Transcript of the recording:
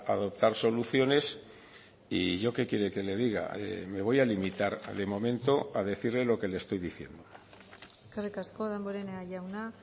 adoptar soluciones y yo qué quiere que le diga me voy a limitar de momento a decirle lo que le estoy diciendo eskerrik asko damborenea jauna